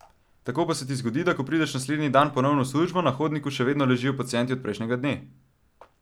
Tako pa se ti zgodi, da ko prideš naslednji dan ponovno v službo, na hodniku še vedno ležijo pacienti od prejšnjega dne!